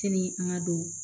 Sini an ka don